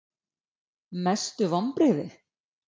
Mestu vonbrigði?????